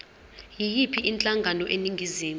yiyiphi inhlangano eningizimu